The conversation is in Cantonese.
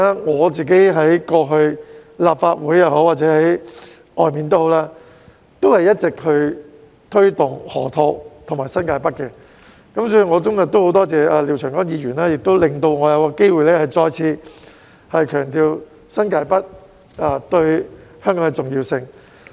我過去在立法會或外界也一直推動河套和新界北發展，所以我今天很多謝廖長江議員，讓我有機會再次強調新界北對香港的重要性。